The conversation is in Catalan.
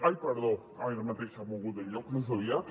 ai perdó ara mateix s’ha mogut de lloc més aviat